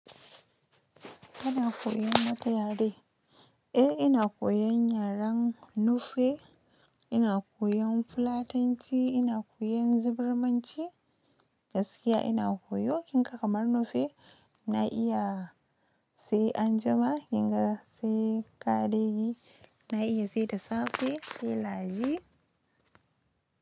Kana koyan wata yare? Eh ina koyan yaren Nufe, ina koyan Fulatanci, ina koyan Zirimanci, gaskiya ina koyo. Kinka kamar Nufe na iya sai anjima, kinga sai ƙareji, na iya sai da safe sai laje.